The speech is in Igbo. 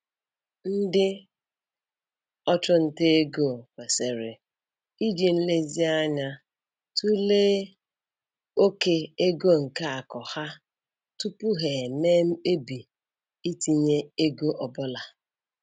Ndị ọchụnta ego kwesịrị iji nlezianya tụlee oke ego nke akụ ha tupu ha eme mkpebi itinye ego ọ bụla.